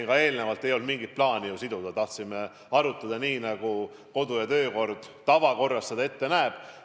Ma juba ütlesin enne, et ei olnud mingit plaani siduda, me tahtsime seda arutada nii, nagu kodu- ja töökord seda tavaprotseduurina ette näeb.